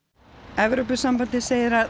Evrópusambandið segir að